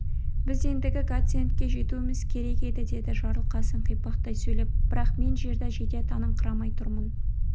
біз ендігі гациендке жетуіміз керек еді деді жарылқасын қипақтай сөйлеп бірақ мен жерді жете таныңқырамай тұрмын